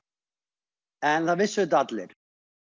en það vissu þetta allir